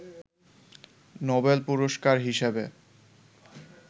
Nobel পুরস্কার হিসাবে